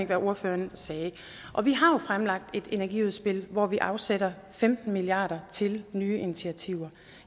hvad ordføreren sagde vi har jo fremlagt et energiudspil hvor vi afsætter femten milliard kroner til nye initiativer